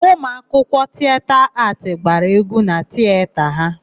Ụmụ akwụkwọ Tieta Aatị gbara égwú na Tieta ha.